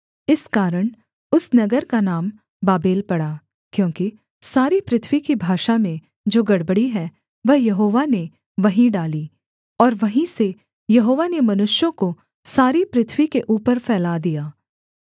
इस कारण उस नगर का नाम बाबेल पड़ा क्योंकि सारी पृथ्वी की भाषा में जो गड़बड़ी है वह यहोवा ने वहीं डाली और वहीं से यहोवा ने मनुष्यों को सारी पृथ्वी के ऊपर फैला दिया